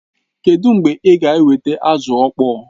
Kedụ mgbe ị ga-eweta azụ ọkpọọ?